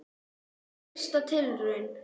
Fyrsta tilraun